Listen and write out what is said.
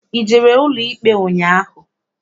I jere n'ụlọikpe ụnyaahụ?